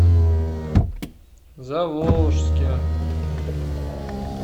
заволжске